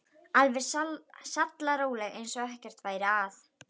Alveg sallaróleg eins og ekkert væri að.